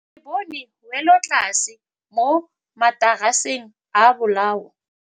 Re bone wêlôtlasê mo mataraseng a bolaô.